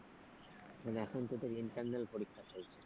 মানে এখন তোদের internal পরীক্ষা চলছে?